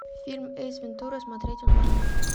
фильм эйс вентура смотреть онлайн